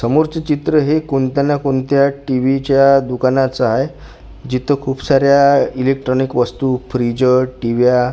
समोरचे चित्र हे कोणत्या ना कोणत्या टी_व्ही च्या दुकानाचं आहे जिथं खूप साऱ्या इलेक्ट्रॉनिक वस्तू फ्रीजं टीव्या --